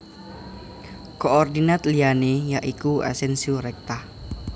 Koordinat liyané ya iku Asensio rekta